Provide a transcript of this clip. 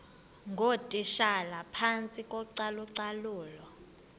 ngootitshala phantsi kocalucalulo